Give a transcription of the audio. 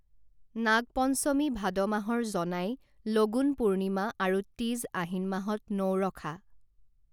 নাগপঞ্চমী ভাদ মাহৰ জনাই লগুণ পূৰ্ণিমা আৰু তীজ আহিন মাহত নউৰখা